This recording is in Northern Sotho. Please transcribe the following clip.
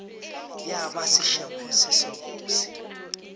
ya ba sešebo se sebose